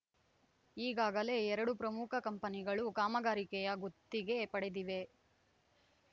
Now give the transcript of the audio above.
ಈಗಾಗಲೇ ಎರಡು ಪ್ರಮುಖ ಕಂಪನಿಗಳು ಕಾಮಗಾರಿಕೆಯ ಗುತ್ತಿಗೆ ಪಡೆದಿವೆ